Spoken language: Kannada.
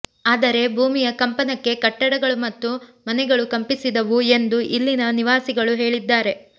ಆದರೆ ಭೂಮಿಯ ಕಂಪನಕ್ಕೆ ಕಟ್ಟಡಗಳು ಮತ್ತು ಮನೆಗಳು ಕಂಪಿಸಿದವು ಎಂದು ಇಲ್ಲಿನ ನಿವಾಸಿಗಳು ಹೇಳಿದ್ದಾರೆ